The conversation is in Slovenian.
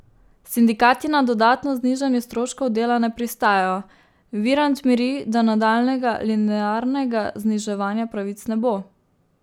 Sindikati na dodatno znižanje stroškov dela ne pristajajo, Virant miri, da nadaljnjega linearnega zniževanja pravic ne bo.